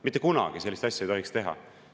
Mitte kunagi ei tohiks sellist asja teha!